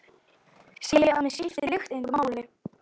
Segi að mig skipti lykt engu máli.